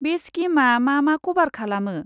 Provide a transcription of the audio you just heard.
बे स्किमआ मा मा क'भार खालामो?